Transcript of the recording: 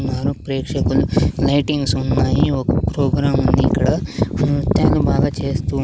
ఉన్నారు ప్రేక్షకులు లైటింగ్స్ ఉన్నాయి ఒక ప్రోగ్రాం ఉంది ఇక్కడ నృత్యాలు బాగా చేస్తూ--